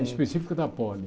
Específico da poli.